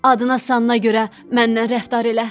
Adına-sanına görə məndən rəftar elə.